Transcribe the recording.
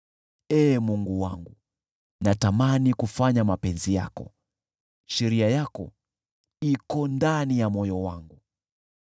Ee Mungu wangu, natamani kuyafanya mapenzi yako; sheria yako iko ndani ya moyo wangu.”